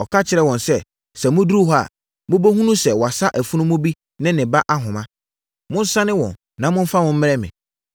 Ɔka kyerɛɛ wɔn sɛ, “Sɛ moduru hɔ a, mobɛhunu sɛ wɔasa afunumu bi ne ne ba ahoma. Monsane wɔn, na momfa wɔn mmrɛ me.